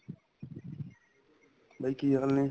ਬਾਈ ਕੀ ਹਾਲ ਨੇ